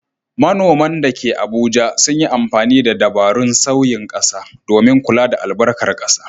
Manoman da ke Abuja sun yi amfani da dabarun sauyin ƙasa domin kula da albarkar ƙasa.